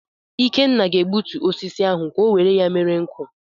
Ikenna ga-egbutu osisi ahụ ka o were ya mere nkụ.